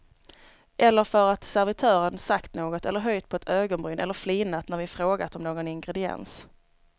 Eller för att servitören sagt något eller höjt på ett ögonbryn eller flinat när vi frågat om någon ingrediens.